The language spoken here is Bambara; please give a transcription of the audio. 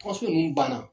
ninnu banna